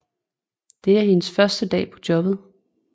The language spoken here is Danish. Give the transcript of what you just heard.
Det er hendes første dag på jobbet